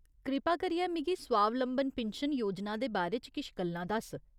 कृपा करियै मिगी स्वावलंबन पिन्शन योजना दे बारे च किश गल्लां दस्स ।